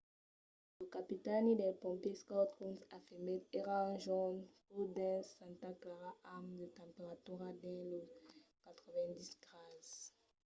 lo capitani dels pompièrs scott kouns afirmèt: èra un jorn caud dins santa clara amb de temperaturas dins los 90 grases